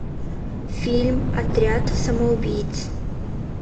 фильм отряд самоубийц